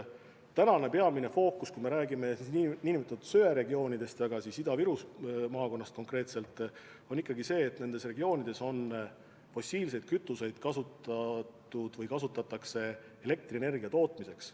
Tänane peamine fookus, kui me räägime nn söeregioonidest ja ka Ida-Viru maakonnast konkreetselt, on ikkagi sellel, et nendes regioonides on fossiilseid kütuseid kasutatud või kasutatakse elektrienergia tootmiseks.